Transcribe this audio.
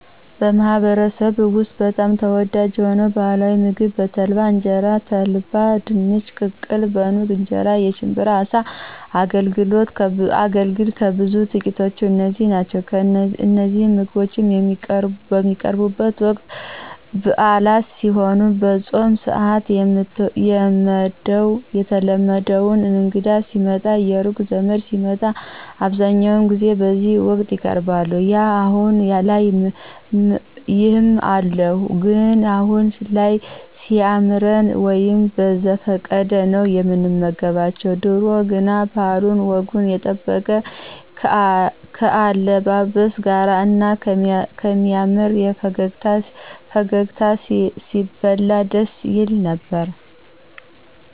በማህበረሰብዎ ውስጥ በጣም ተወዳጅ የሆነው ባህላዊ ምግብ በተልባ እንጀራ፣ በተልባ ድንች ቅቅል፣ በኑግ እንጀራ፣ የሽብራ አሳ፣ አገልግል፣ ከብዙ በጥቂቱ እነዚህ ናቸው እነዚህ ምግቦች የሚቀርቡቡት ወቅት ብአላት ሲሄኑ፣ በፆም ስአት፣ የትዎደው እንግዳ ሲመጣ፣ የሩቅ ዘመድ ሲመጣ አብዛኛው ጊዜ በዚህ ወቅት ይቀርባሉ። ያው አሁን ላይ ይም አሉ ግን አሁን ላይ ሲያምረን ወይም በዘፈቀደ ነው ምንመገባቸው ድሮ ግን ባህሉን ወጉን የጠበቀ ከአለባበስ ጋር እና ከሚያምር ፈገግታ ሲበላ ደስ ይል ነበር።